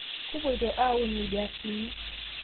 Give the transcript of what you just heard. Kupoito aaun lbeasini